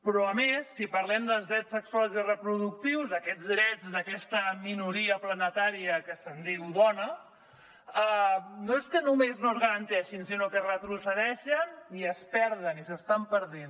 però a més si parlem dels drets sexuals i reproductius aquests drets d’aquesta minoria planetària que se’n diu dona no és que només no es garanteixin sinó que retrocedeixen i es perden i s’estan perdent